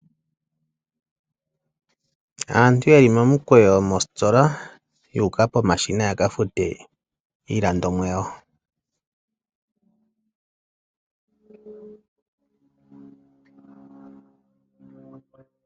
Aantu ye li momukweyo mositola yu uka pomashina ya ka fute iilandomwa yawo.